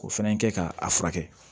O fana kɛ ka a furakɛ